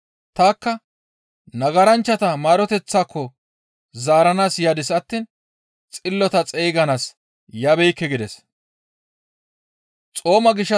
Tanikka nagaranchchata maaroteththaako zaaranaas yadis attiin xillota xeyganaas yabeekke» gides.